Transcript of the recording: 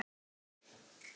Á litlu nesi stóð